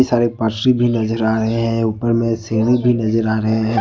और एक पटरी भी नजर आ रहे हैं ऊपर में सीढ़ी भी नजर आ रहे हैं।